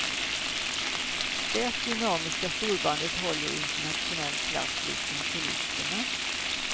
Det dynamiska storbandet håller internationell klass liksom solisterna.